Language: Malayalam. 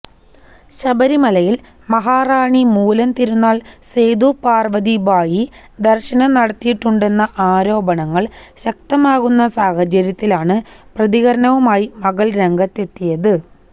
ശബരിമലയില് മഹാറാണി മൂലം തിരുനാള് സേതു പാര്വ്വതിഭായി ദര്ശനം നടത്തിയിട്ടുണ്ടെന്ന ആരോപണങ്ങള് ശക്തമാകുന്ന സാഹചര്യത്തിലാണ് പ്രതികരണവുമായി മകള് രംഗത്തെത്തിയത്